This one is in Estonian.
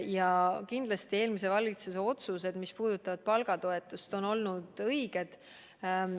Ja kindlasti on eelmise valitsuse otsused, mis puudutasid palgatoetust, olnud õiged.